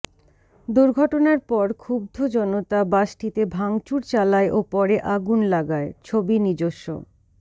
দূর্ঘটনার পর ক্ষুব্ধ জনতা বাসটিতে ভাঙাচুর চালায় ও পরে আগুন লাগায় ছবি নিজস্ব